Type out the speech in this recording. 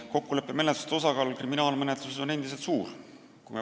Kokkuleppemenetluste osakaal kriminaalmenetluses on endiselt suur.